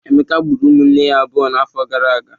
Emeka gburu ụmụnne ya abụọ n'afọ gara aga.